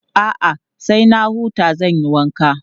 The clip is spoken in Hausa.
A'a, sai na huta zan yi wanka.